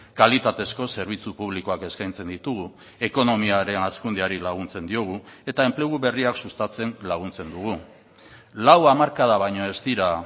kalitatezko zerbitzu publikoak eskaintzen ditugu ekonomiaren hazkundeari laguntzen diogu eta enplegu berriak sustatzen laguntzen dugu lau hamarkada baino ez dira